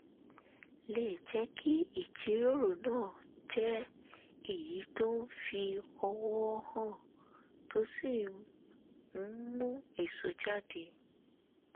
lè jẹ́ kí ìjíròrò náà jẹ́ èyí tó ń fi ọ̀wọ̀ hàn tó sì ń mú èso jáde